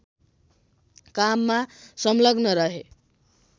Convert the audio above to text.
काममा सङ्लग्न रहे